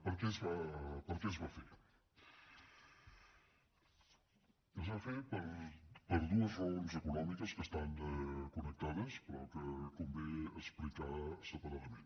per què es va fer es va fer per dues raons econòmiques que estan connectades però que convé explicar separadament